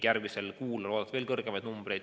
Järgmisel kuul on oodata veel suuremat kogust.